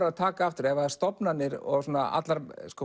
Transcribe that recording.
að taka aftur ef stofnanir